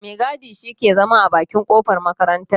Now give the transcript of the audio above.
Mai gadi shi ke zama a bakin kofar makarartar.